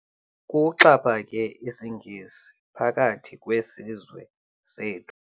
Kuxhaphake isiNgesi phakathi kwesizwe sethu.